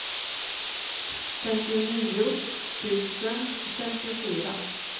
femtionio tusen femtiofyra